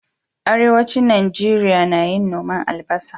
Arewacin Nigeria nayin noman albasa